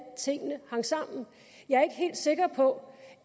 tingene hang sammen jeg er ikke helt sikker på